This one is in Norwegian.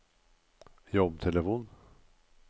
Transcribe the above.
jobbtelefon